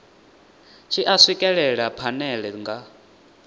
tshi a swikelela phanele nga